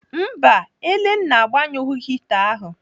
Mba, Elenna agbanyụghị hita ahu.